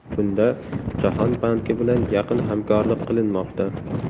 Bunda Jahon banki bilan yaqin hamkorlik qilinmoqda.